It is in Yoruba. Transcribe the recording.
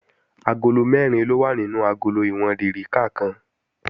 Agolo mẹ́rin ló wà nínú agolo ìwọ̀n dèríkà kan